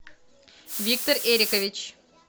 виктор эрикович